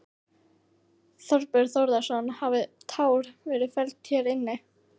Þorbjörn Þórðarson: Hafa tár verið felld hér inni?